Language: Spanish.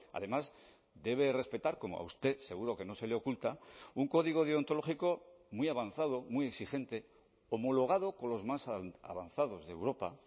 además debe respetar como a usted seguro que no se le oculta un código deontológico muy avanzado muy exigente homologado con los más avanzados de europa